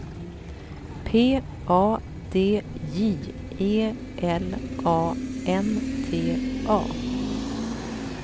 P A D J E L A N T A